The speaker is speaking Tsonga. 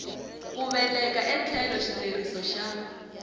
ku vekela etlhelo xileriso xa